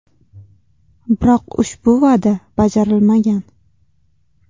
Biroq ushbu va’da bajarilmagan.